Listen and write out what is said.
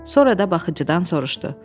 Sonra da baxıcıdan soruşdu.